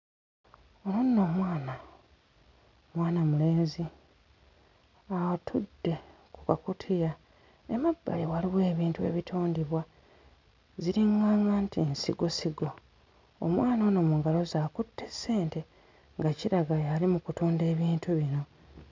Ono nno omwana mwana mulenzi atudde ku kakutiya emabbali waliwo ebintu ebitundibwa ziriᵑᵑaᵑᵑa nti nsigosigo omwana ono mu ngalo ze akutte ssente nga kiraga y'ali mu kutunda ebintu bino.